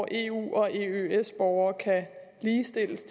eu og eøs borgere kan ligestilles